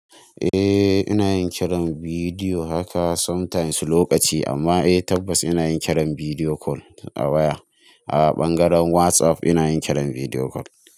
Eh ina yin kiran bidiyo haka sometimes lokaci amma eh tabbas ina yin kiran bidiyo call a waya. A ɓangaren WhatsApp ina yin kiran bidiyo call.